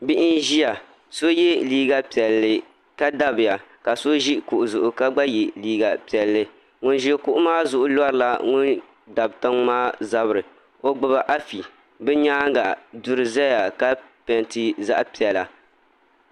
bihi n-ʒia so ye liiga piɛlli ka dabiya ka so ʒi kuɣu zuɣu ka gba ye liiga piɛlli ŋun ʒi kuɣu maa zuɣu lɔrila ŋun ʒi tiŋ maa zabiri o gbubi afi bɛ nyaanga bɛ nyaanga duri zeya ka pɛɛnti zaɣ'piɛla